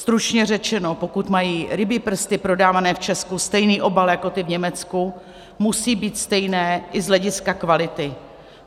Stručně řečeno, pokud mají rybí prsty prodávané v Česku stejný obal jako ty v Německu, musí být stejné i z hlediska kvality.